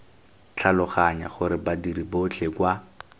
tlhaloganya gore badiri botlhe kwa